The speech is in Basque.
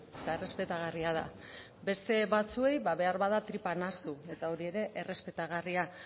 eta errespetagarria da beste batzuei ba behar bada tripa nahastu eta hori ere errespetagarria